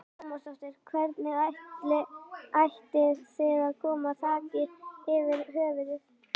Lára Ómarsdóttir: Hvernig ætið þið að koma þaki yfir höfuðið?